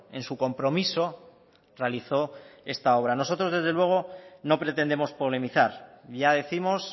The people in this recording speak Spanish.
en su compromiso realizó esta obra nosotros desde luego no pretendemos polemizar ya décimos